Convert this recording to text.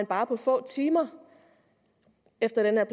bare få timer efter at